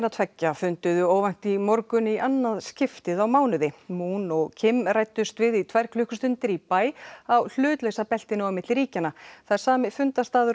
tveggja funduðu óvænt í morgun í annað skipti á mánuði moon og ræddust við í tvær klukkustundir í bæ á hlutlausa beltinu á milli ríkjanna það er sami fundarstaður